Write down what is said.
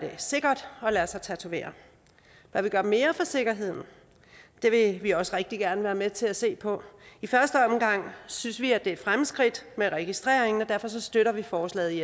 sikkert at lade sig tatovere kan vi gøre mere for sikkerheden det vil vi også rigtig gerne være med til at se på i første omgang synes vi det er et fremskridt med registreringen og derfor støtter vi forslaget i